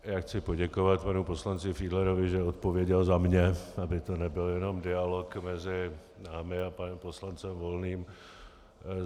Já chci poděkovat panu poslanci Fiedlerovi, že odpověděl za mě, aby to nebyl jen dialog mezi námi a panem poslancem Volným.